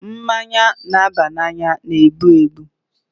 Mmanya na-aba n'anya na-egbu egbu.